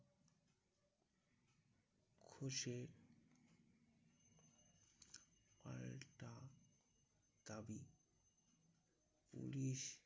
ঘোষের আরেকটা দাবি পুলিশ